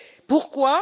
Pourquoi?